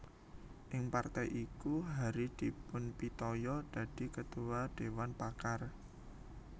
Ing partai iku Hary dipunpitaya dadi Ketua Dewan Pakar